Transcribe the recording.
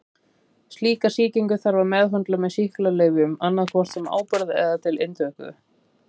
Slíka sýkingu þarf að meðhöndla með sýklalyfjum annað hvort sem áburð eða til inntöku.